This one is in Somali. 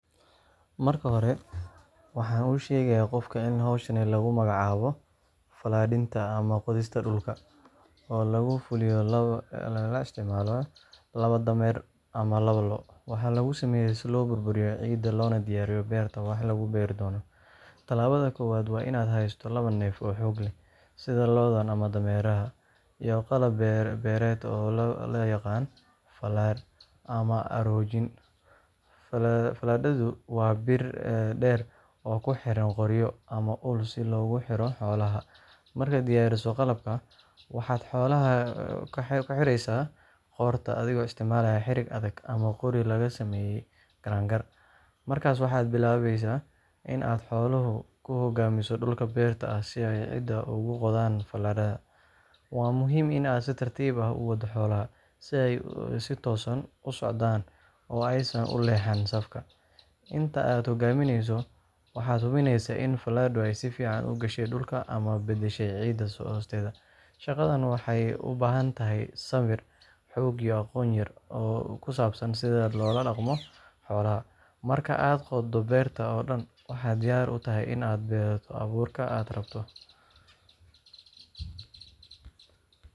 Marka hore, waxaan u sheegayaa qofka in hawshan lagu magacaabo fallaadhinta ama qodista dhulka oo lagu fuliyo iyadoo la isticmaalayo laba dameer ama lo’. Waxaa lagu sameeyaa si loo burburiyo ciidda loona diyaariyo beerta wax lagu beeri doono. Talaabada koowaad waa in aad haysato labo neef oo xoog leh, sida lo’da ama dameeraha, iyo qalab beereed oo loo yaqaan fallaadh ama aroojin, Fallaadhdu waa bir dheer oo ku xiran qoryo ama ul si loogu xidho xoolaha. Markaad diyaariso qalabka, waxaad xoolaha ka xiraysaa qoorta adigoo isticmaalaya xarig adag ama qori laga sameeyey garangar. Markaas waxaad bilaabaysaa in aad xoolaha ku hogaamiso dhulka beerta ah si ay ciidda ugu qodaan fallaadha. Waa muhiim in aad si tartiib ah u waddo xoolaha, si ay si toosan u socdaan oo aysan ka leexan safka. Inta aad ku hogaaminayso, waxaad hubinaysaa in fallaadhu si fiican u gashay dhulka una beddeshay ciidda hoosteeda. Shaqadan waxay u baahan tahay sabir, xoog, iyo aqoon yar oo ku saabsan sida loola dhaqmo xoolaha. Marka aad qoddo beerta oo dhan, waxaad diyaar u tahay in aad ku beerto abuurka aad rabto.